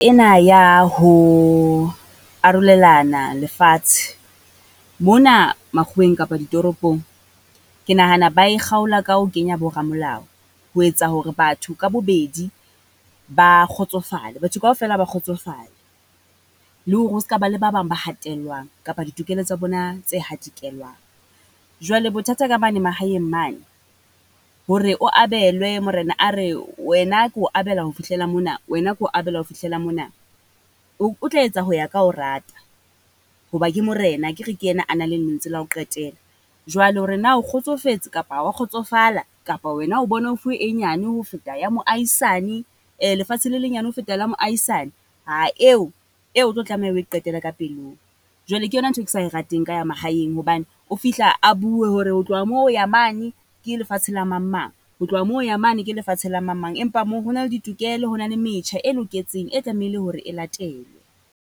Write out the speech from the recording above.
Ena ya ho arolelana lefatshe mona makgoweng kapa ditoropong, ke nahana ba e kgaola ka ho kenya bo ramolao. Ho etsa hore batho ka bobedi ba kgotsofale, batho kaofela ba kgotsofale. Le hore ho ska ba le ba bang ba hatellwang kapa ditokelo tsa bona tse hatikelwang. Jwale bothata ka mane mahaeng mane, hore o abelwe morena a re wena ke o abela ho fihlela mona, wena ke o abela ho fihlela mona. O tla etsa ka ho rata, ho ba ke morena akere ke ena a nang le lentswe la ho qetela. Jwale hore na o kgotsofetse kapa ha o wa kgotsofala kapa wena o bona o fuwe e nyane ho feta ya moahisane, lefatshe le lenyane ho feta la moahisani. Ha eo eo o tlo tlameha o e qetele ka pelong. Jwale ke yona ntho e ke sa e rateng ka ya mahaeng, hobane o fihla a bue hore ho tloha moo ho ya mane ke lefatshe la mang mang. Ho tloha moo, ho ya mane ke lefatshe la mang mang. Empa moo ho na le ditokelo, ho na le metjha e loketseng e tlamehile hore e latelwe.